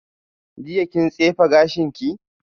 Jiya kin tsefe gashinki?